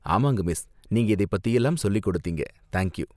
ஆமாங்க மிஸ், நீங்க இதை பத்திலாம் சொல்லிக் கொடுத்தீங்க, தேங்க் யூ.